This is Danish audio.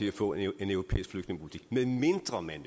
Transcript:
at få en europæisk flygtningepolitik medmindre man